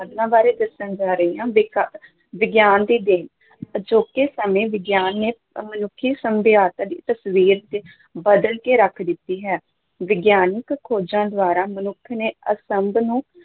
ਬਾਰੇ ਦੱਸਣ ਜਾ ਰਹੀ ਹਾਂ ਵਿਗ ਵਿਗਿਆਨ ਦੀ ਦੇਣ ਅਜੋਕੇ ਸਮੇਂ ਵਿਗਿਆਨ ਨੇ ਮਨੁੱਖੀ ਸਭਿਆਤਾ ਦੀ ਤਸ਼ਵੀਰ ਬਦਲ ਕੇ ਰੱਖ ਦਿੱਤੀ ਹੈ, ਵਿਗਿਆਨਕ ਖੋਜਾਂ ਦੁਆਰਾ ਮਨੁੱਖ ਨੇ ਅਸੰਭ